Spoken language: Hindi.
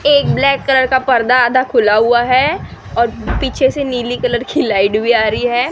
एक ब्लैक कलर का पर्दा आधा खुला हुआ है और पीछे से नीली कलर की लाइट भी आ रही है।